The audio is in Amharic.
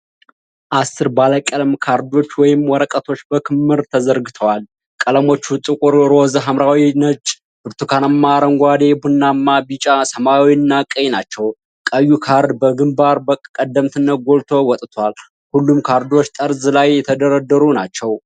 አስር ባለ ቀለም ካርዶች ወይም ወረቀቶች በክምር ተዘርግተዋል። ቀለሞቹ ጥቁር፣ ሮዝ፣ ሐምራዊ፣ ነጭ፣ ብርቱካናማ፣ አረንጓዴ፣ ቡናማ፣ ቢጫ፣ ሰማያዊ እና ቀይ ናቸው። ቀዩ ካርድ በግንባር ቀደምትነት ጎልቶ ወጥቷል። ሁሉም ካርዶች ጠርዝ ላይ የተደረደሩ ናቸው።